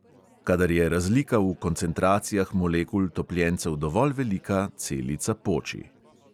Kadar je razlika v koncentracijah molekul topljencev dovolj velika, celica poči.